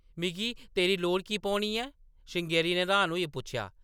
“मिगी तेरी लोड़ की पौनी ऐ? ” श्रृंगेरी ने र्‌हान होइयै पुच्छेआ ।